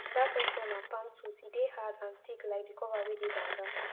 dat okra na palm tooth e dey hard and thick like di cover wey dey banga